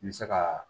N bɛ se ka